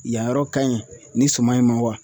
Yanyɔrɔ ka ɲi nin suman in ma wa?